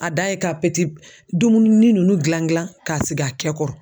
A dan ye ka dumuni ninnu dilan dilan k'a sig'a kɛ kɔrɔ.